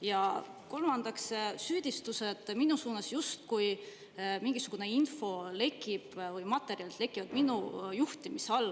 Ja kolmandaks olid süüdistused mulle, justkui mingisugune info lekib või materjalid lekivad minu juhtimise all.